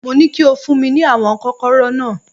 Mo ní kí o fún mi ní àwọn Kọ́kọ́rọ́ náà